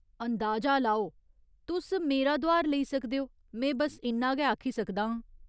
अंदाजा लाओ! तुस मेरा दुआर लेई सकदे ओ, में बस्स इन्ना गै आखी सकदा आं।